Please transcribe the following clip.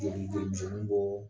Joli joli misɛnninw bɔ